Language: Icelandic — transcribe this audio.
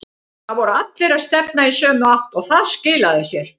Það voru allir að stefna í sömu átt og það skilaði sér.